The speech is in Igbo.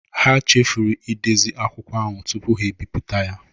Ha chefuru ịdezi akwụkwọ ahu tụpu ha biputa ya